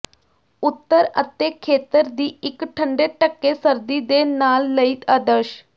ਉੱਤਰ ਅਤੇ ਖੇਤਰ ਦੀ ਇੱਕ ਠੰਡੇ ਢੱਕੇ ਸਰਦੀ ਦੇ ਨਾਲ ਲਈ ਆਦਰਸ਼